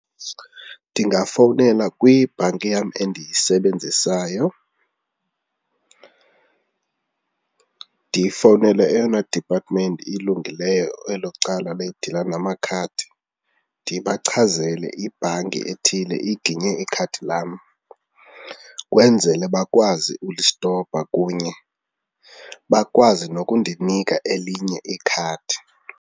Ndingafowunela kwibhanki yam endiyisebenzisayo, ndifowunele eyona diphatimenti ilungileyo elo cala lidila namakhadi. Ndibachazele ibhanki ethile iginye ikhadi lam kwenzele bakwazi ulistopa kunye bakwazi nokundinika elinye ikhadi.